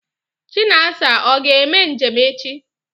Chinasa ọ ga-eme njem echi?